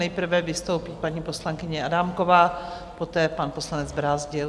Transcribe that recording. Nejprve vystoupí paní poslankyně Adámková, poté pan poslanec Brázdil.